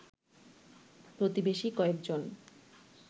প্রতিবেশী কয়েকজন